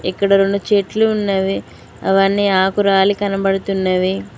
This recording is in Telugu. ఇక్కడ రొండు చెట్లు ఉన్నవి అవన్నీ ఆకు రాలి కనపడుతున్నవి.